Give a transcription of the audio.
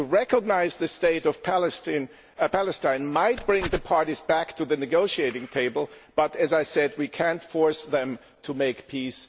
To recognise the State of Palestine might bring the parties back to the negotiating table but, as I said, we cannot force them to make peace